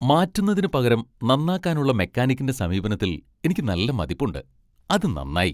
മാറ്റുന്നതിനുപകരം നന്നാക്കാനുള്ള മെക്കാനിക്കിന്റെ സമീപനത്തിൽ എനിക്ക് നല്ല മതിപ്പുണ്ട്. അത് നന്നായി .